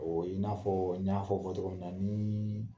i n'a fɔɔ n y'a fɔ fɔ togo min na nii